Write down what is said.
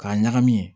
K'a ɲagami